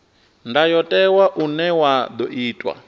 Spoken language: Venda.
ndayotewa une wa ḓo itwa